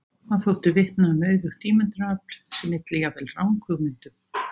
Það þótti vitna um auðugt ímyndunarafl sem ylli jafnvel ranghugmyndum.